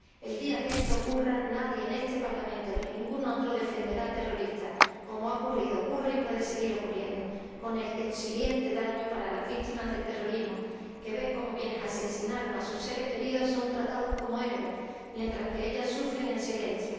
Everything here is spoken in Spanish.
El día que esto ocurra, nadie, ni en este Parlamento, ni en ningún otro, defenderá a terroristas, como ha ocurrido, ocurre y puede seguir ocurriendo, con el consiguiente daño para las víctimas del terrorismo, que ven cómo quienes asesinaros a sus seres queridos son tratados como héroes, mientras que ellas sufren en silencio.